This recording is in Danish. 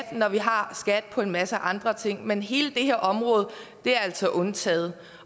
og når vi har skat på en masse andre ting men hele det her område er altså undtaget